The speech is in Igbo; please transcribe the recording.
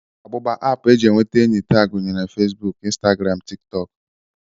Agbụgba app e ji enweta enyi taa gụnyere Facebook, Instagram, tiktok